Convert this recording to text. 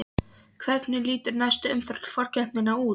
Hvernig lítur næsta umferð forkeppninnar út?